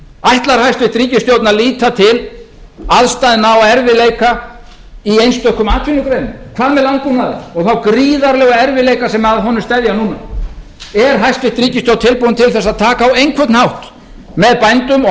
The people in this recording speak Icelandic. ætlar hæstvirt ríkisstjórn að líta til aðstæðna og erfiðleika í einstökum atvinnugreinum hvað með landbúnaðinn og þá gríðarlegu erfiðleika sem að honum steðja núna er hæstvirt ríkisstjórn tilbúin til að taka á einhvern hátt með bændum og